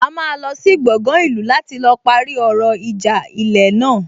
A máa lọ sí gbọgán ìlú láti lọ parí ọ̀rọ̀ ìjà ilẹ̀ náà